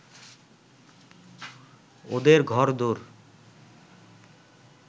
ওদের ঘরদোর